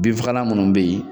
Binfagalan munnu be yen